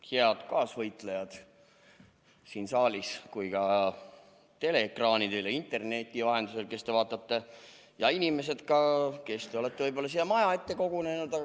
Head kaasvõitlejad nii siin saalis kui ka teleekraanide taga ja need, kes te jälgite istungit interneti vahendusel, ja ka inimesed, kes te olete siia maja ette kogunenud!